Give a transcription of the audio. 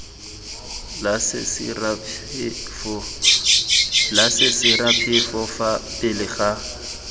la sesiraphefo fa pele ga